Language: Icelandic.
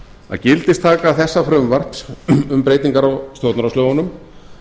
að gildistaka þessa frumvarps um breytingar á stjórnarráðslögunum